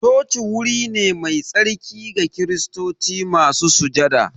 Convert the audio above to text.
Coci wuri ne mai tsarki ga kiristoci masu sujada